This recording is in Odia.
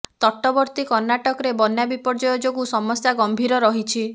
ତଟବର୍ତ୍ତୀ କର୍ଣ୍ଣାଟକରେ ବନ୍ୟା ବିପର୍ଯ୍ୟୟ ଯୋଗୁଁ ସମସ୍ୟା ଗମ୍ଭୀର ରହିଛି